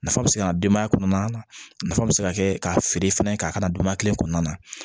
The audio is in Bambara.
Nafa bɛ se ka denbaya kɔnɔna nafa bɛ se ka kɛ ka feere fɛnɛ ka a kana donbaya kelen kɔnɔna na